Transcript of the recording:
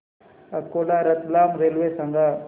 Akola Ratlam railway सांगा